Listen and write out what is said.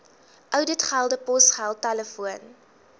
ouditgelde posgeld telefoon